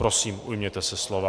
Prosím, ujměte se slova.